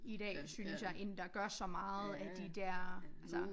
I dag synes jeg end der gør så meget af de der altså